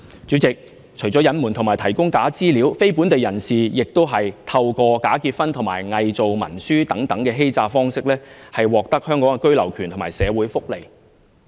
主席，除了隱瞞和提供假資料，非本地人士還透過假結婚及偽造文書等欺詐方式，從而獲得香港居留權和社會福利。